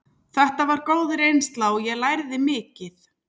Þetta var góð reynsla og ég lærði mikið.